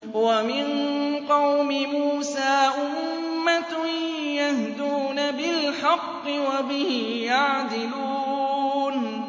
وَمِن قَوْمِ مُوسَىٰ أُمَّةٌ يَهْدُونَ بِالْحَقِّ وَبِهِ يَعْدِلُونَ